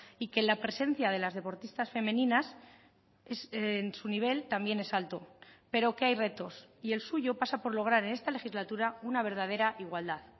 y que la presencia de las deportistas femeninas en su nivel también es alto pero que hay retos y el suyo pasa por lograr en esta legislatura una verdadera igualdad